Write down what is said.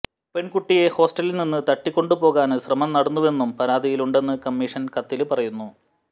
പെണ്കുട്ടിയെ ഹോസ്റ്റലില്നിന്ന് തട്ടിക്കൊണ്ടുപോകാന് ശ്രമം നടന്നുവെന്നും പരാതിയിലുണ്ടെന്ന് കമ്മീഷന് കത്തില് പറയുന്നു